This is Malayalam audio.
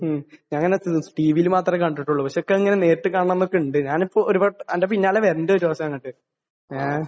മ്മ്. ഞാൻ അത് ടി.വിയിൽ മാത്രമേ കണ്ടിട്ടുള്ളു. പക്ഷെ എനിക്ക് ഇങ്ങനെ നേരിട്ട് കാണണം എന്നൊക്കെ ഉണ്ട്. ഞാനിപ്പോൾ ഒരുവ നിന്റെ പിന്നാലെ വരുന്നുണ്ട് ഒരു ദിവസം അങ്ങോട്. ഏഹ്?